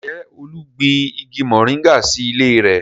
Ǹjẹ́ Olú gbin igi moringa sí ilé rẹ̀?